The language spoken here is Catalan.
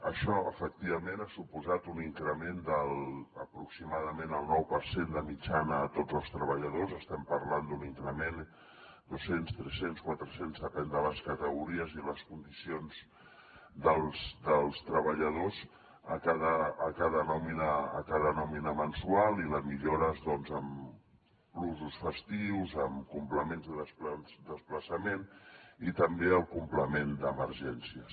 això efectivament ha suposat un increment d’aproximadament el nou per cent de mitjana a tots els treballadors estem parlant d’un increment de doscents tres cents quatre cents depèn de les categories i les condicions dels treballadors a cada nòmina mensual i les millores doncs en plusos festius en complements de desplaçament i també el complement d’emergències